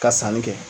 Ka sanni kɛ